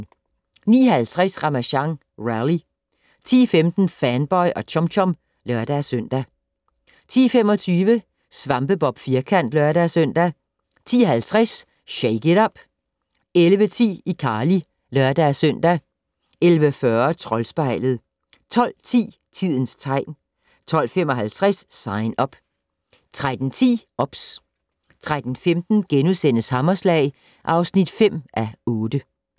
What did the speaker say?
09:50: Ramasjang Rally 10:15: Fanboy og Chum Chum (lør-søn) 10:25: SvampeBob Firkant (lør-søn) 10:50: Shake it up! 11:10: iCarly (lør-søn) 11:40: Troldspejlet 12:10: Tidens tegn 12:55: Sign Up 13:10: OBS 13:15: Hammerslag (5:8)*